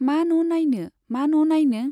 मा न' नाइनो, मानो न' नाइनो?